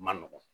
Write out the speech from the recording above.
Ma nɔgɔn